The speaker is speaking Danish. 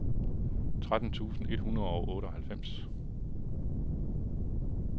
tretten tusind et hundrede og otteoghalvfems